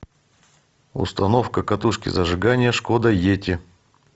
установка катушки зажигания шкода йети